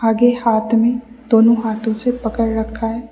के हाथ में दोनों हाथों से पकड़ रखा है।